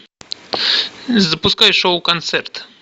запускай шоу концерт